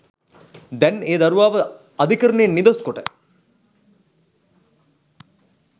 දැන් ඒ දරුවාව අධිකරණයෙන් නිදොස්‌ කොට